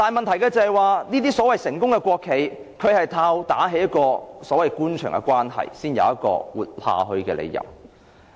但這些所謂成功的國企，是靠打好官場關係才能生存下去的。